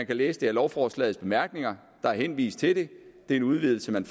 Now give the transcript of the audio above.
kan læses af lovforslagets bemærkninger der er henvist til det det er en udvidelse man